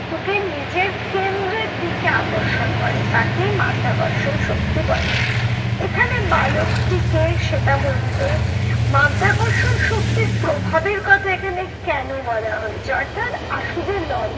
নিজের কেন্দ্রের দিকে আকর্ষণ করে তাকেই মাধ্যাকর্ষণ শক্তি বলে। এখানে বালকটিকে সেটা বলবে মাধ্যাকর্ষণ শক্তির প্রভাবের কথা এখানে কেন বলা হয়েছে অর্থাৎ আশু যে